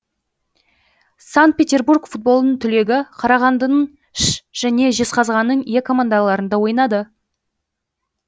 санкт петербург футболының түлегі қарағандының ш жене жезғазғанның е командаларында ойнады